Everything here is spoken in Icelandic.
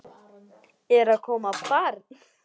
Er að koma barn?